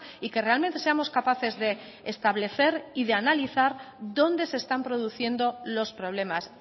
y que realmente seamos capaces de establecer y de analizar dónde se están produciendo los problemas